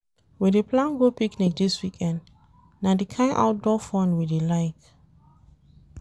We dey plan go picnic dis weekend, na di kain outdoor fun we dey like.